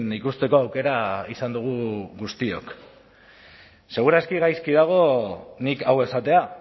ikusteko aukera izan dugu guztiok segur aski gaizki dago nik hau esatea